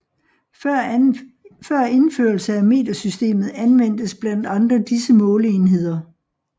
Før indførelse af metersystemet anvendtes blandt andre disse måleenheder